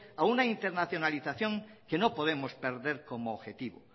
a una internacionalización que no podemos perder como objetivo